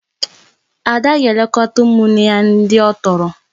Ada ga-elekọta ụmụnne ya ndị ọ tọrọ